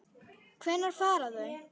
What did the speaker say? Hvenær fara þau?